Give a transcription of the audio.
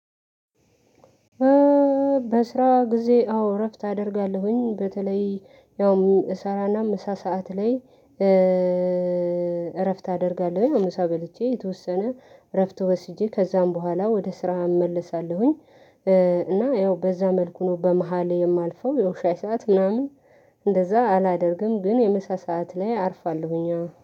በስራ ጊዜ አዎ እረፍት አደርጋለሁኝ በተለይ ያው እሰራና ምሳ ሰዓት ላይ እረፍት አደርጋለሁ ምሳ በልቼ የተወሰነ እረፍት ወስጄ ከዚያ በኋላ ወደ ስራ እመለሳለሁኝ። እና ያው በዚያ መልኩ ነው በመሃል የማልፈው የሻይ ሰዓት ምናምን እንደዚያ አላደርግም ግን የምሳ ሰዓት ላይ አርፋለሁኝ።